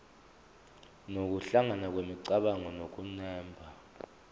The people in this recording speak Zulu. nokuhlangana kwemicabango nokunemba